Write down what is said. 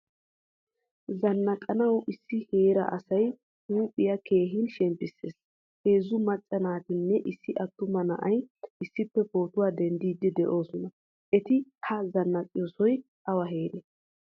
Zannaqanawu issi heeray asa huuphpiyaa keehin shemppisees. Heezzu macca naatinne issi attuma na"ay issippe pootuwaa denddidi deosona. Etti ha zanaaqqiyosay awa heeree?